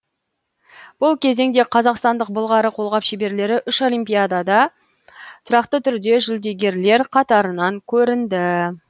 бұл кезеңде қазақстандық былғары қолғап шеберлері үш олимпиадада тұрақты түрде жүлдегерлер қатарынан көрінді